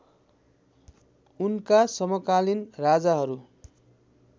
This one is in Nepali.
उनका समकालीन राजाहरू